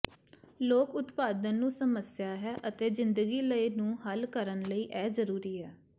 ਲੋਕ ਉਤਪਾਦਨ ਨੂੰ ਸਮੱਸਿਆ ਹੈ ਅਤੇ ਜ਼ਿੰਦਗੀ ਲਈ ਨੂੰ ਹੱਲ ਕਰਨ ਲਈ ਇਹ ਜ਼ਰੂਰੀ ਹੈ